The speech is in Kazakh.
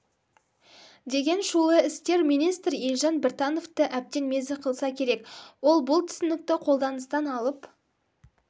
деген шулы істер министр елжан біртановты әбден мезі қылса керек ол бұл түсінікті қолданыстан алып